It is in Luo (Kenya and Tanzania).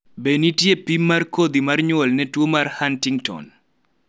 be nitie pim mar kodhi mar nyuol ne tuo mar Huntington ?